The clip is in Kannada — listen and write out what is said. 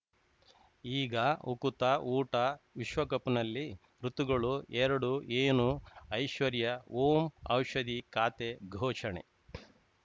ಈಗ ಉಕುತ ಊಟ ವಿಶ್ವಕಪ್‌ನಲ್ಲಿ ಋತುಗಳು ಎರಡು ಏನು ಐಶ್ವರ್ಯಾ ಓಂ ಔಷಧಿ ಖಾತೆ ಘೋಷಣೆ